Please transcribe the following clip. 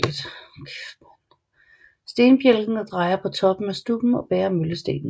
Stenbjælken drejer på toppen af stubben og bærer møllestenen